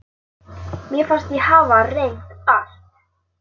Mér fannst ég hafa reynt allt.